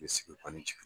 sigi jigin